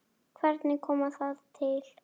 Hvernig kom það til?